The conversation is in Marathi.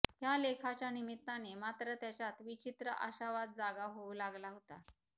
ह्या लेखाच्या निमित्ताने मात्र त्याच्यात विचित्र आशावाद जागा होऊ लागला होता